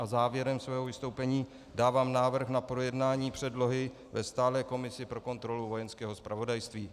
A závěrem svého vystoupení dávám návrh na projednání předlohy ve stálé komisi pro kontrolu Vojenského zpravodajství.